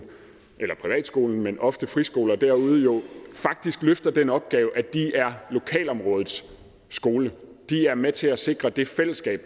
eller privatskolen men jo ofte friskoler derude faktisk løfter den opgave at de er lokalområdets skole det er med til at sikre det fællesskab